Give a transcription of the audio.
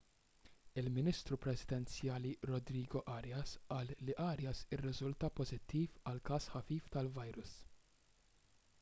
il-ministru presidenzjali rodrigo arias qal li arias irriżulta pożittiv għal każ ħafif tal-virus